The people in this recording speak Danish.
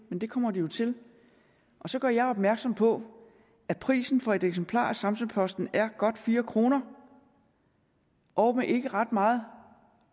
men det kommer de jo til så gør jeg opmærksom på at prisen for et eksemplar af samsø posten er godt fire kr og med ikke ret meget